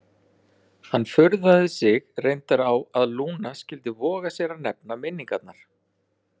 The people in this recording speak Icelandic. Hann furðaði sig reyndar á að Lúna skyldi voga sér að nefna minningarnar.